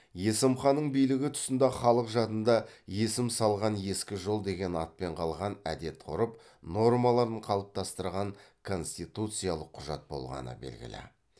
есім ханның билігі тұсында халық жадында есім салған ескі жол деген атпен қалған әдет ғұрып нормаларын қалыптастырған конституциялық құжат болғаны белгілі